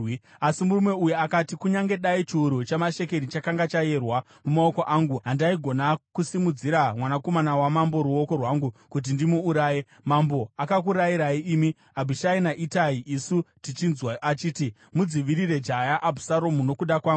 Asi murume uyu akati, “Kunyange dai chiuru chamashekeri chakanga chayerwa mumaoko angu, handaigona kusimudzira mwanakomana wamambo ruoko rwangu kuti ndimuuraye. Mambo akakurayirai imi, Abhishai naItai isu tichizvinzwa achiti, ‘Mudzivirire jaya Abhusaromu nokuda kwangu.’